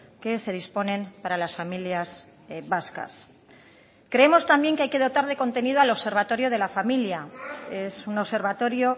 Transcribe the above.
que se disponen para las familias vascas creemos también que hay que dotar de contenido al observatorio de la familia es un observatorio